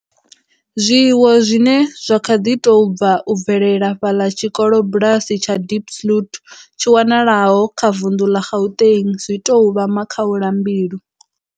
Zwiwo zwine zwa kha ḓi tou bva u bvelela fhaḽa tshikolobulasi tsha Diepsloot tshi wanalaho kha vunḓu ḽa Gauteng, zwi tou vha makhaulambilu.